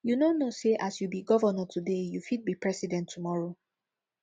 you no know sey as you be governor today you fit be president tomorrow